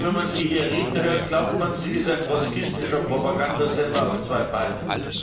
Denn wenn man sie hier reden hört, glaubt man, sie ist ein trotzkistischer Propagandasender auf zwei Beinen.